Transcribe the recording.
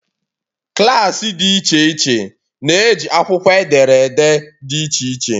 klaasị dị iche iche na-eji akwụkwọ ederede dị iche iche.